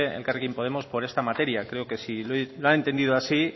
elkarrekin podemos por esta materia creo que si lo ha entendido así